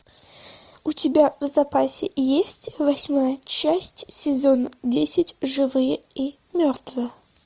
у тебя в запасе есть восьмая часть сезон десять живые и мертвые